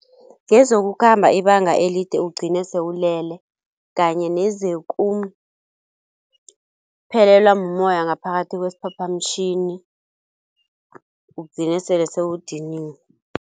Ngezokukhamba ibanga elide ugcine sewulele kanye nezekuphelelwa mumoya ngaphakathi kwesiphaphamtjhini ugcine sele sewudiniwe.